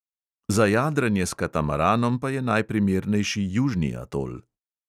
Za jadranje s katamaranom pa je najprimernejši južni atol.